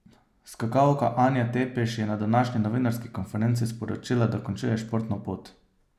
Skakalka Anja Tepeš je na današnji novinarski konferenci sporočila, da končuje športno pot.